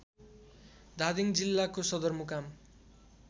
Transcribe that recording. धादिङ जिल्लाको सदरमुकाम